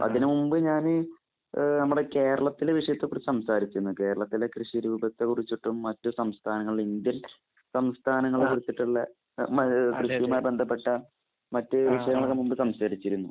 അതിന് മുൻപ് ഞാൻ ഈ ഏഹ് നമ്മുടെ കേരളത്തിലെ കൃഷിയെ കുറിച്ച് സംസാരിച്ചിരുന്നു. കേരളത്തിലെ കൃഷി കുറിച്ചിട്ടും മറ്റു സംസ്ഥാനങ്ങളിലെ ഇന്ത്യൻ സംസ്ഥാനങ്ങളെ കുറിച്ചിട്ടുള്ള ഏഹ് കൃഷിയുമായി ബന്ധപ്പെട്ട മറ്റു വിഷയങ്ങളും നമ്മൾ സംസാരിച്ചിരുന്നു.